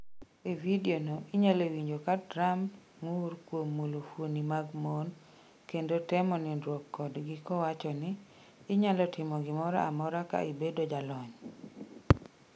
E vidio no, inyalo winjo ka Trump ng’ur kuom mulo fuoni mag mon kendo temo nindruok kodgi, kowacho ni: ‘inyalo timo gimoro amora ka ibedo jalony’.